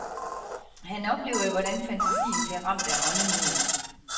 Han oplevede, hvordan fantasien blev ramt af åndenød.